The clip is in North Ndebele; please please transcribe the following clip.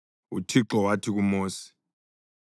UThixo wathi kuMosi,